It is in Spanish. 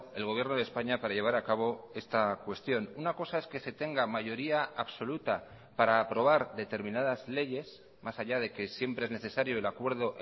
el gobierno de españa para llevar acabo esta cuestión una cosa es que se tenga mayoría absoluta para aprobar determinadas leyes más allá de que siempre es necesario el acuerdo